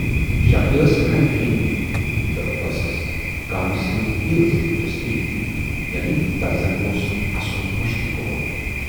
شکلہِ ٲس ہَنا کرہٕنۍ تہٕ ٲسٕس کامہِ سۭتی یٲژ دِلچسپی یعنے تَس زَن اوس اَسُن مٔشتھٕے گومُت۔